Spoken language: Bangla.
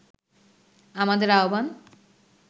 আমাদের আহ্বান